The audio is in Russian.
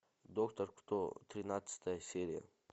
доктор кто тринадцатая серия